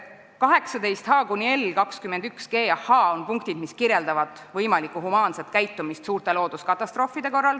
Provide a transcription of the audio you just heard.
18h–18l, 21g–21h on punktid, mis kirjeldavad võimalikku humaanset käitumist suurte looduskatastroofide korral.